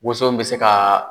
Woson bɛ se ka